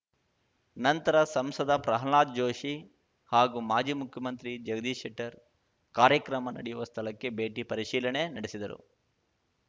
ನಂತರ ಸಂಸದ ಪ್ರಹ್ಲಾದ್ ಜೋಶಿ ಹಾಗೂ ಮಾಜಿ ಮುಖ್ಯಮಂತ್ರಿ ಜಗದೀಶ ಶೆಟ್ಟರ್‌ ಕಾರ್ಯಕ್ರಮ ನಡೆಯುವ ಸ್ಥಳಕ್ಕೆ ಭೇಟಿ ಪರಿಶೀಲನೆ ನಡೆಸಿದರು